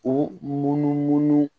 U munu munu munu